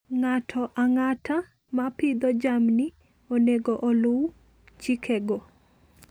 Ng'ato ang'ata ma pidho jamni onego oluw chikego.